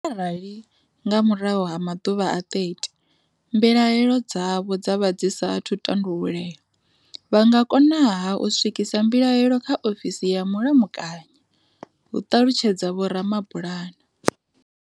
"Arali, nga murahu ha maḓuvha a 30, mbilahelo dzavho dza vha dzi sathu tandululea, vha nga konaha u swikisa mbilahelo kha ofisi ya Mulamukanyi," hu ṱalutshedza Vho Ramabulana.